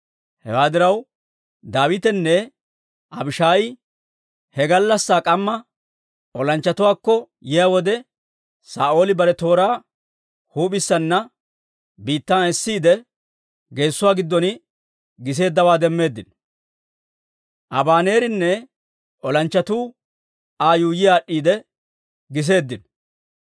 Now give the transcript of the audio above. Hewaa diraw, Daawitenne Abishaayi he gallassaa k'amma olanchchatuwaakko yiyaa wode, Saa'ooli bare tooraa huup'isana biittan esiidde, geessuwaa giddon giseeddawaa demmeeddino. Abaneerinne olanchchatuu Aa yuuyyi aad'd'iide giseeddino.